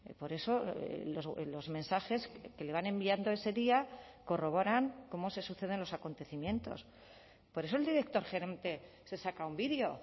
por eso los mensajes que le van enviando ese día corroboran cómo se suceden los acontecimientos por eso el director gerente se saca un vídeo